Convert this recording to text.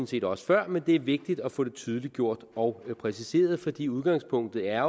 set også før men det er vigtigt at få det tydeliggjort og præciseret fordi udgangspunktet jo er